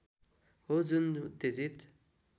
हो जुन उत्तेजित